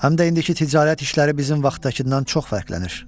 Həm də indiki ticarət işləri bizim vaxtdakından çox fərqlənir.